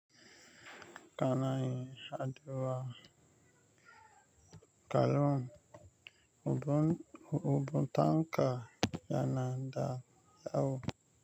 Kana yin haɗuwa kallon, uban tanka yana da wayo.